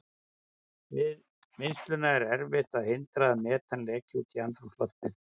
Við vinnsluna er erfitt að hindra að metan leki út í andrúmsloftið.